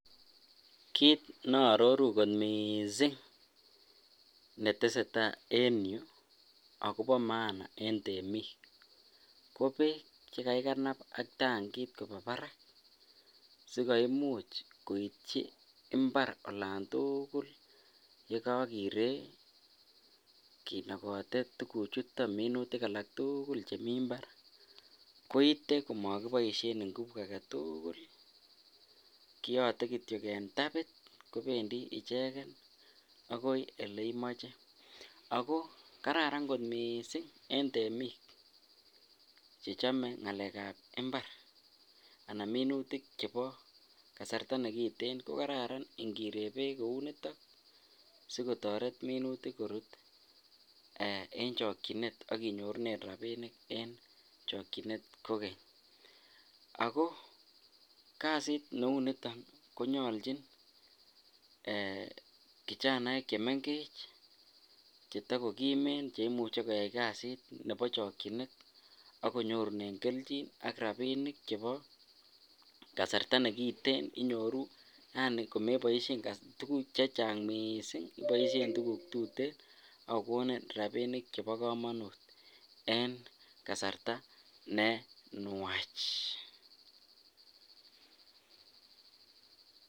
kiit naaroruu kot mising netesetai en yuu agobo maana en temiik ko beek, chegagiganab ak tangiit koba baraak sigoimuch koityi imbaar olon tugul yegogireek kinogote tuguk chuton minutik alaak tugul chemii imbaar koite komogiboishen nguvu agetuugul kiyote kityo en tabit kobendii icheget agoi oleimoche, ago kararan mising en temik chechome ngaleek ab imbar chechome ngalek ab minutik anan minutik chebo kasarta negiten kogarara ingiree beek kouuniton sigotoret minutik koruut en chokyinet ak inyorunee rabinik en chokyinet kogeny. Agoo kasit neuu niton konyolchin kijaneek chemengeech chetogogimeen cheimuche koyaai kasit nebo chokyineet ak konyoruneen kelchin ak rabinik chebo kasarta negiteen inyoruu aani komeboishen tuguk chechang mising iboishen tuguk tuteen agogonin rabinik chebo komonuut en kasarta nenwaach.